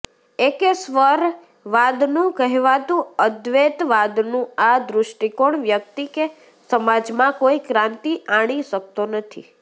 એકેશ્વરવાદનું કહેવાતું અદ્વેતવાદનું આ દૃષ્ટિકોણ વ્યક્તિ કે સમાજમાં કોઈ ક્રાંતિ આણી શકતો નથી